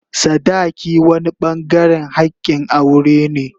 sadaki wani bangaren hakin aure ne.